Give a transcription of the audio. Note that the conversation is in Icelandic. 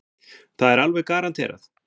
Það er alveg garanterað.